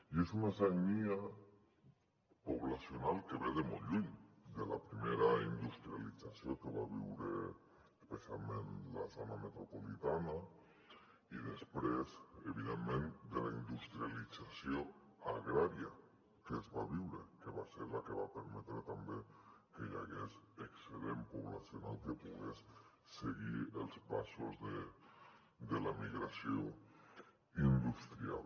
i és una sagnia poblacional que ve de molt lluny de la primera industrialització que va viure especialment la zona metropolitana i després evidentment de la industrialització agrària que es va viure que va ser la que va permetre també que hi hagués excedent poblacional que pogués seguir els passos de l’emigració industrial